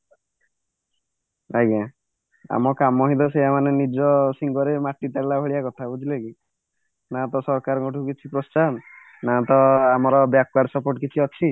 ଆଜ୍ଞା ଆମ କାମ ହିଁ ତ ସେଇଆ ମାନେ ନିଜ ସିଙ୍ଗରେ ମାଟି ତାଡିଲା ଭଳିଆ କଥା ବୁଝିଲ କି ନା ତ ସରକାରଙ୍କଠୁ କିଛି ପ୍ରୋସ୍ତ୍ଚାହନ ନା ତ ଆମର back ward support କିଛି ଅଛି